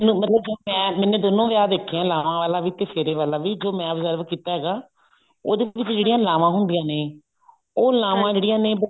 ਮੈਨੂੰ ਮਤਲਬ ਜੋ ਮੈਂ ਮੈਨੇ ਦੋਨੋ ਵਿਆਹ ਦੇਖੇ ਨੇ ਲਾਵਾਂ ਵਾਲਾ ਵੀ ਤੇ ਫੇਰੇ ਵਾਲਾ ਵੀ ਜੋ ਮੈਂ absorb ਕੀਤਾ ਹੈਗਾ ਉਹਦੇ ਵਿੱਚ ਜਿਹੜੀਆਂ ਲਾਵਾਂ ਹੁੰਦੀਆਂ ਨੇ ਉਹ ਲਾਵਾਂ ਜਿਹੜੀਆਂ ਨੇ